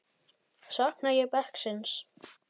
Sakna ég bekksins?